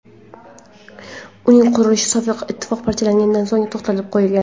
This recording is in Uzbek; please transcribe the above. Uning qurilishi Sovet Ittifoqi parchalangandan so‘ng to‘xtatib qo‘yilgan.